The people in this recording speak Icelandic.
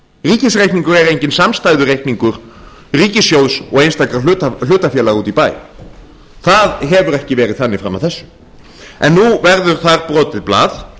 ríkisreikningurinn er enginn samstæðureikningur ríkissjóð og einstakra hlutafélaga úti í bæ það hefur ekki verið þannig fram að þessu en nú verður það brotið blað